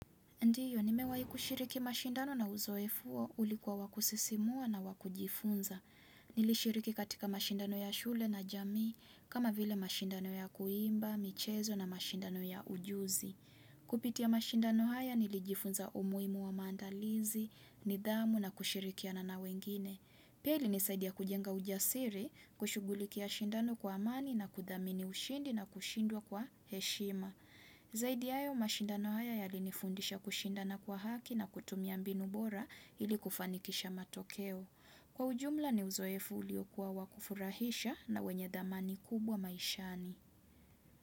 Ndiyo, nimewai kushiriki mashindano na uzoefu huo ulikuwa wa kusisimua na wa kujifunza. Nilishiriki katika mashindano ya shule na jamii, kama vile mashindano ya kuimba, michezo na mashindano ya ujuzi. Kupitia mashindano haya nilijifunza umuhimu wa maandalizi, nidhamu na kushirikiana na wengine. Pia ilinisaidia kujenga ujasiri, kushugulikia mashindano kwa amani na kudhamini ushindi na kushindwa kwa heshima. Zaidi ya hayo mashindano haya yalinifundisha kushindana kwa haki na kutumia mbinu bora ili kufanikisha matokeo Kwa ujumla ni uzoefu uliokuwa wa kufurahisha na wenye dhamani kubwa maishani.